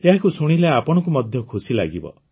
ଏହାକୁ ଶୁଣିଲେ ଆପଣଙ୍କୁ ମଧ୍ୟ ଖୁସି ଲାଗିବ